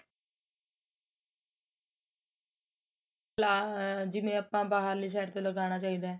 ਲਾ ਜਿਵੇਂ ਆਪਾਂ ਬਾਹਰਲੇ side ਤੋਂ ਲਗਾਣਾ ਚਾਹੀਦਾ